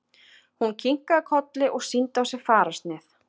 Hún kinkaði kolli og sýndi á sér fararsnið.